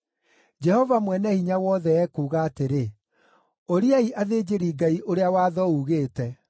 “Jehova Mwene-Hinya-Wothe ekuuga atĩrĩ, ‘Ũriai athĩnjĩri-Ngai ũrĩa watho ugĩte: